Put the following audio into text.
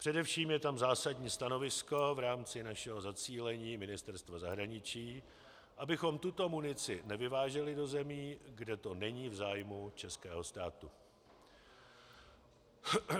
Především je tam zásadní stanovisko v rámci našeho zacílení Ministerstva zahraničí, abychom tuto munici nevyváželi do zemí, kde to není v zájmu českého státu.